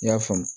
I y'a faamu